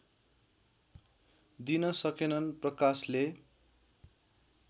दिन सकेनन् प्रकाशले